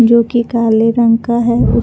जोकि काले रंग का है।